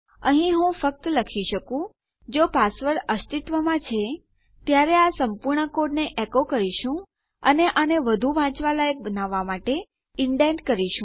અહીં હું ફક્ત લખી શકું જો પાસવર્ડ અસ્તિત્વમાં છે ત્યારે આ સંપૂર્ણ કોડને એકો કરીશું અને આને વધું વાંચવા લાયક બનાવવા માટે ઇન્ડેન્ટ કરીશું